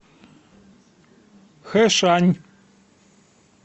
хэшань